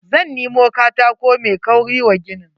Zan nemo katako mai kauri wa ginin.